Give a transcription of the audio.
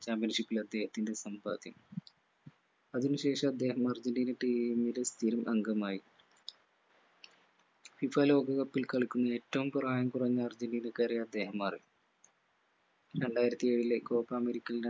championship ൽ അദ്ദേഹത്തിന്റെ സമ്പാദ്യം. അതിന് ശേഷം അദ്ദേഹം അർജന്റീന team ൽ സ്ഥിരം അംഗമായി FIFA ലോക കപ്പിൽ കളിക്കുന്ന ഏറ്റവും പ്രായം കുറഞ്ഞ അർജന്റീനക്കാരനായി അദ്ദേഹം മാറി രണ്ടായിരത്തിയേഴിലെ copa american